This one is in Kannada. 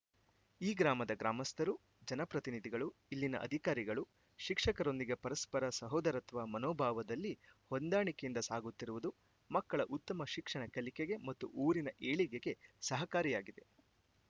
ಈ ಗ್ರಾಮದ ಗ್ರಾಮಸ್ಥರು ಜನಪ್ರತಿನಿಧಿಗಳು ಇಲ್ಲಿನ ಅಧಿಕಾರಿಗಳು ಶಿಕ್ಷಕರೊಂದಿಗೆ ಪರಸ್ಪರ ಸಹೋದರತ್ವ ಮನೋಭಾವದಲ್ಲಿ ಹೊಂದಾಣಿಕೆ ಯಿಂದ ಸಾಗುತ್ತಿರುವುದು ಮಕ್ಕಳ ಉತ್ತಮ ಶಿಕ್ಷಣ ಕಲಿಕೆಗೆ ಮತ್ತು ಊರಿನ ಏಳಿಗೆಗೆ ಸಹಕಾರಿಯಾಗಿದೆ